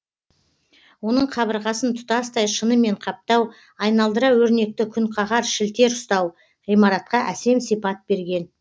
оның қабырғасын тұтастай шынымен қаптау айналдыра өрнекті күнқағар шілтер ұстау ғимаратқа әсем сипат берген